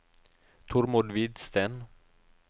Tormod Hvidsten